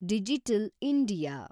digital India